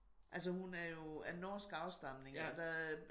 Altså hun er jo af norsk afstamning og der